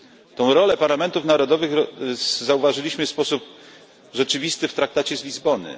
Tę rolę parlamentów narodowych zauważyliśmy w sposób rzeczywisty w Traktacie z Lizbony.